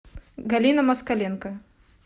галина москаленко